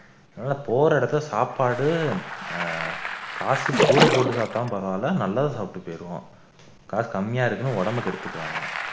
நல்லா போற இடத்துல சாப்பாடு ஆஹ்